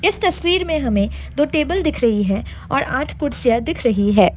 इस तस्वीर में हमें दो टेबल दिख रही है और आठ कुर्सियां दिख रही है ।